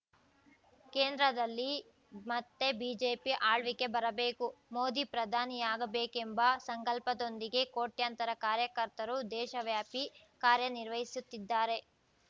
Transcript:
ಕೇಂದ್ರದಲ್ಲಿ ಮತ್ತೆ ಬಿಜೆಪಿ ಆಳ್ವಿಕೆ ಬರಬೇಕು ಮೋದಿ ಪ್ರಧಾನಿಯಾಗಬೇಕೆಂಬ ಸಂಕಲ್ಪದೊಂದಿಗೆ ಕೋಟ್ಯಾಂತರ ಕಾರ್ಯಕರ್ತರು ದೇಶವ್ಯಾಪಿ ಕಾರ್ಯ ನಿರ್ವಹಿಸುತ್ತಿದ್ದಾರೆ